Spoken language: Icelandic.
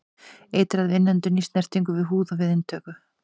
Eitrað við innöndun, í snertingu við húð og við inntöku.